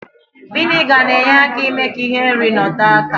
Viniga na-enye aka ime ka ihe nri nọtọọ aka